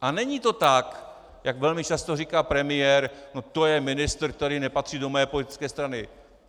A není to tak, jak velmi často říká premiér: no to je ministr, který nepatří do mé politické strany.